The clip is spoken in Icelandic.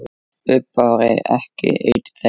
Bubba var ekki einn þeirra.